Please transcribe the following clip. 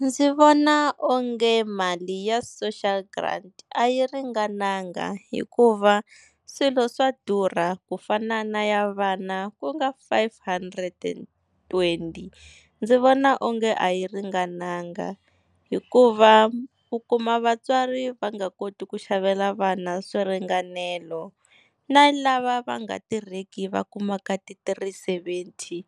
Ndzi vona onge mali ya social grant a yi ringananga hikuva swilo swa durha ku fana na ya vana ku nga five hundred and twenty. Ndzi vona onge a yi ringananga, hikuva u kuma vatswari va nga koti ku xavela vana swiringanelo. Na lava va nga tirheki va kumaka ti-three seventy